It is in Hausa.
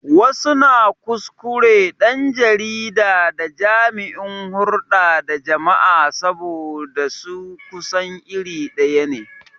Wasu na kuskure ɗan jarida da jami'in hurɗa da jama'a saboda aikin su kusan iri ɗaya ne.